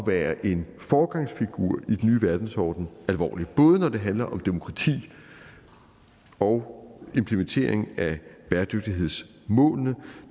være en foregangsfigur i den nye verdensorden alvorligt både når det handler om demokrati og implementering af bæredygtighedsmålene